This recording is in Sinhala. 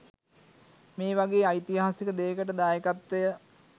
මේ වගේ ඓතිහාසික දෙයකට දායකත්වය